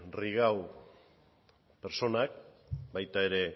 rigau pertsonak baita ere